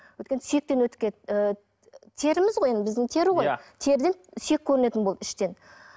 өйткені сүйектен өтіп ы теріміз ғой енді біздің тері ғой теріден сүйек көрінетін болды іштен